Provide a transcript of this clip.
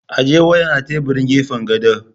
Ajiye wayan a teburin gefan gado!